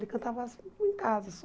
Ele cantava só em casa só.